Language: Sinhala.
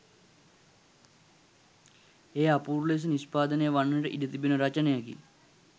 එය අපූරු ලෙස නිෂ්පාදනය වන්නට ඉඩ තිබෙන රචනයකි